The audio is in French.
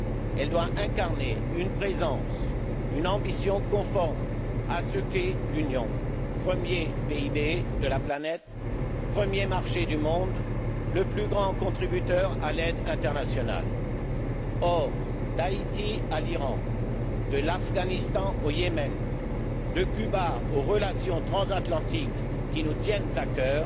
Elle doit incarner une présence, une ambition conforme à ce qu'est l'Union, premier PIB de la planète, premier marché du monde, le plus grand contributeur à l'aide internationale. Or, d'Haïti à l'Iran, de l'Afghanistan au Yémen, de Cuba aux relations transatlantiques qui nous tiennent à cœur,